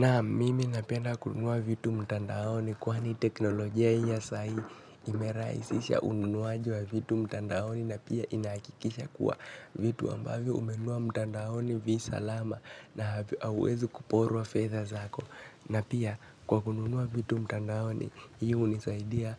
Naam mimi napenda kununua vitu mtandaoni kwani teknolojia hii ya sai imerahisisha ununuaji wa vitu mtandaoni na pia inahakikisha kuwa vitu ambavyo umenunua mtandaoni vi salama na hauwezi kuporwa fedha zako. Na pia kwa kununua vitu mtandaoni hii hunisaidia